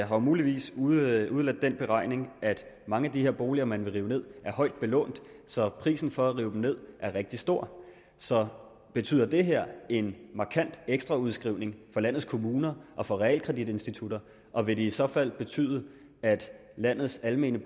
har muligvis udeladt den beregning at mange af de boliger man vil rive ned er højt belånt så prisen for at rive dem ned er rigtig stor så betyder det her en markant ekstraudskrivning for landets kommuner og for realkreditinstitutterne og vil det i så fald betyde at landets almene